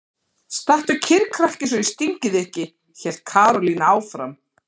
Stattu kyrr krakki svo ég stingi þig ekki! hélt Karólína áfram.